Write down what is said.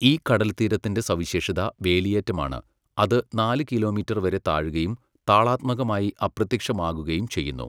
ഈ കടൽത്തീരത്തിന്റെ സവിശേഷത വേലിയേറ്റമാണ്, അത് നാല് കിലോമീറ്റർ വരെ താഴുകയും താളാത്മകമായി അപ്രത്യക്ഷമാകുകയും ചെയ്യുന്നു.